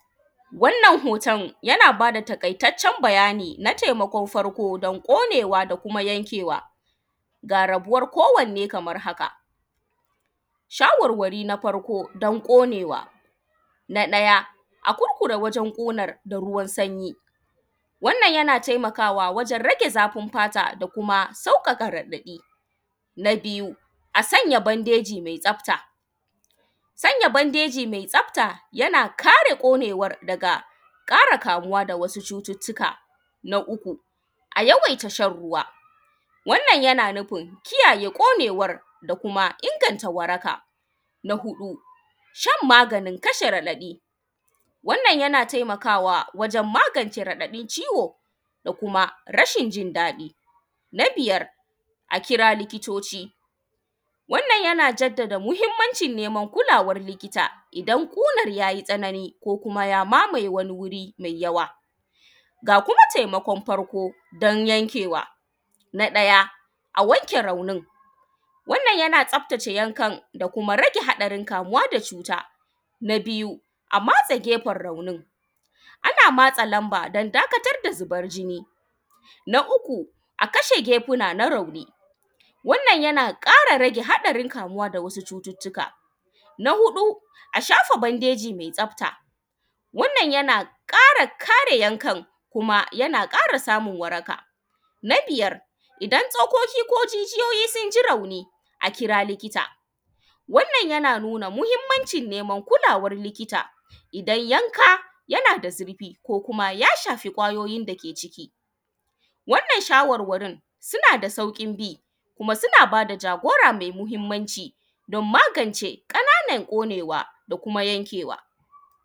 Wannan hoton yana bada taƙaitaccen bayani don taimakon farko, don ƙonewa ko yankewa ga rabuwan ko wanne kaman haka shawarwari na farko dun ƙunewa na ɗaya a kurkure wajen ƙunan da ruwan sanyi wannan yana taimakawa wajen rage zafin fata da kuma sauƙaƙa raɗaɗi na biyu a sanya bandeji me tsafta sanya bandeji me tsafat yana kare ƙonewa daga ƙara kamuwa daga wasu cututtuka na uku a yawaita shanruwa wannan yana nufin kiyaye ƙonewan da kuma inganta waraka na huɗu shan maganin kasha raɗaɗi annan yana taimakawa wajen magance raɗaɗin ciwo da kuma rashin jin daɗi na biyar a kira likitoci wannan yana jaddda muhinmancin neman kulawan likita idan ƙunan yayi tsanani ko kuma ya mamaye wani wuri me yawa ga kuma taimakon farko dun yankewa na ɗaya a wanke raunin wannan yana tsaftace raunin da kuma rage haɗarin kamuwa da cuta na biyu a matse gyefen raunin na matse manba dun dakatar da zuban jini na uku akeshe kekeuna na rauni wannan yana rage haɗarin kamuwa da wasu cututtuka na huɗu a shafa badeji metsafta wannan yana ƙare kare yankan kuma yana ƙara samun waraka na biyar idan tsokoki ko jijiyoyi sunji rauni a kira likita wannan yana nuna muhinmancin niman kulawan likita idan yanka yashafi kwayoyin dake ciki wannan shawarwarin sunada sauƙin bi kuma suna bada jagora me muhinmanci dun magance ƙanan ƙonewa da kuma yankewa.